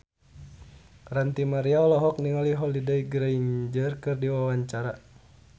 Ranty Maria olohok ningali Holliday Grainger keur diwawancara